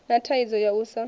na thaidzo ya u sa